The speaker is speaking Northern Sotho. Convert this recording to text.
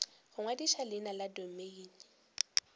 go ngwadiša leina la domeine